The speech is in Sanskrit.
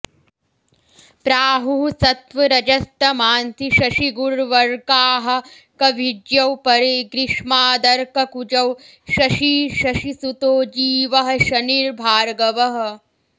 प्राहुः सत्त्वरजस्तमांसि शशिगुर्वर्काः कविज्ञौ परे ग्रीष्मादर्ककुजौ शशी शशिसुतो जीवः शनिर्भार्गवः